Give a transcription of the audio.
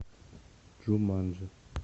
джуманджи